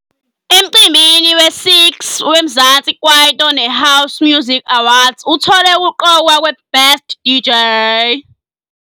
Emcimbini wesi -6 weMzansi Kwaito neHouse Music Awards uthole ukuqokwa kweBest DJ.